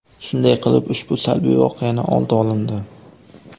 Shunday qilib, ushbu salbiy voqeaning oldi olindi.